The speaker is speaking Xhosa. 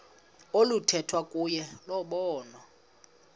oluthethwa kuyo lobonwa